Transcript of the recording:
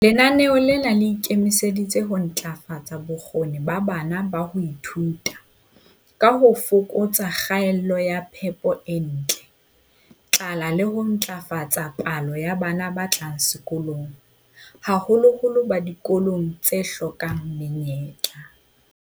Lenaneo lena le ikemiseditse ho ntlafatsa bokgoni ba bana ba ho ithuta, ka ho fokatsa kgaello ya phepo e ntle, tlala le ho ntlafatsa palo ya bana ba tlang sekolong, haholoholo ba dikolong tse hlokang menyetla.